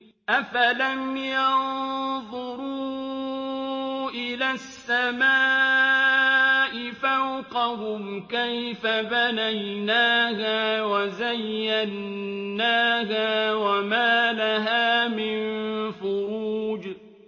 أَفَلَمْ يَنظُرُوا إِلَى السَّمَاءِ فَوْقَهُمْ كَيْفَ بَنَيْنَاهَا وَزَيَّنَّاهَا وَمَا لَهَا مِن فُرُوجٍ